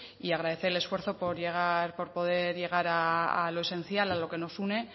y agradecer el esfuerzo por poder llegar a lo esencial a lo que nos une